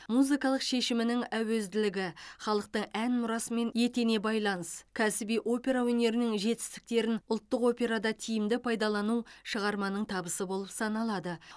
музыкалық шешімінің әуезділігі халықтың ән мұрасымен ете байланыс кәсіби опера өнерінің жетістіктерін ұлттық операда тиімді пайдалану шығарманың табысы болып саналады